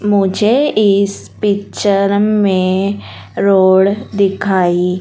मुझे इस पिक्चर में रोड दिखाई--